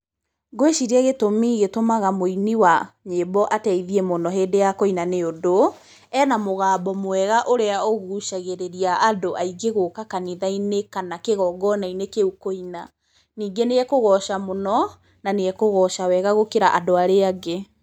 Ngwĩciria gĩtũmi gĩtũmaga mũini wa nyĩmbo ateithie mũno hĩndĩ ya kũina nĩũndũ, ena mũgambo mwega ũrĩa ũgucagĩrĩria andũ aingĩ gũka kanitha-inĩ kana kĩgongona-inĩ kĩu kũina. Ningĩ nĩ ekũgoca mũno, na nĩ ekũgoca wega gũkĩra andũ arĩa angĩ.